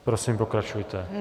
Prosím, pokračujte.